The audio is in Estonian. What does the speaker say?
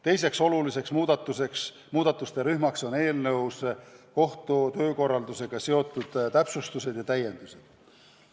Teiseks oluliseks muudatuste rühmaks on kohtu töökorraldusega seotud täpsustused ja täiendused.